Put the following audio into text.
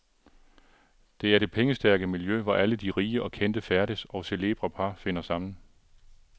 Det er det pengestærke miljø, hvor alle de rige og kendte færdes, og celebre par finder sammen.